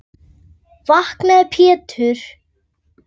Vaknaðu Pétur.